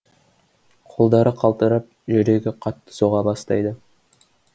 қолдары қалтырап жүрегі қатты соға бастайды